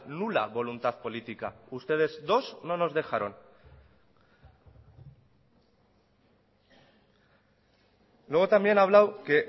nula voluntad política ustedes dos no nos dejaron luego también ha hablado que